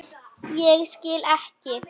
Ég skil ekki.